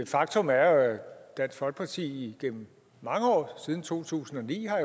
faktum er jo at dansk folkeparti gennem mange år siden to tusind og ni har